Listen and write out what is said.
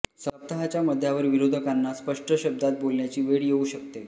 सप्ताहाच्या मध्यावर विरोधकांना स्पष्ट शब्दात बोलण्याची वेळ येऊ शकते